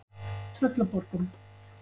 Tröllaborgum